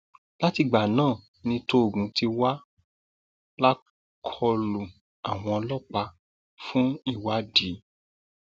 látìgbà náà ni tóògùn ti wà lákọlò àwọn ọlọpàá fún ìwádìí